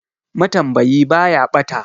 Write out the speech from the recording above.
Matambayi ba ya ɓata.